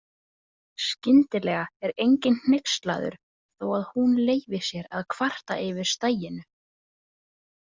Skyndilega er enginn hneykslaður þó að hún leyfi sér að kvarta yfir staginu.